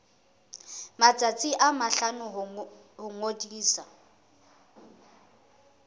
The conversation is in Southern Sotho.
matsatsi a mahlano ho ngodisa